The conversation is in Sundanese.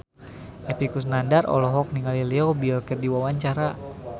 Epy Kusnandar olohok ningali Leo Bill keur diwawancara